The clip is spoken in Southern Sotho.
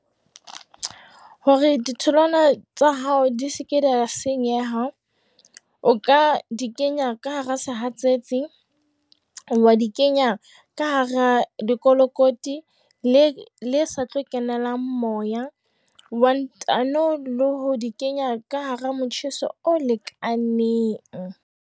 Hore ditholwana tsa hao di seke di a senyeha, o ka di kenya ka hara sehatsetsi, wa di kenya ka hara lekolokoti le sa tlo kenelang moya, wa ntano le ho di kenya ka hara motjheso o lekaneng.